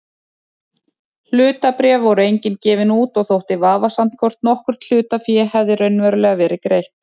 Hlutabréf voru engin gefin út og þótti vafasamt hvort nokkurt hlutafé hefði raunverulega verið greitt.